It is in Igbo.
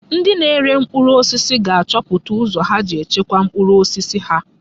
Ndị na-ere mkpụrụ osisi ga-achọpụta ụzọ ha ga-eji chekwaa mkpụrụ osisi ha.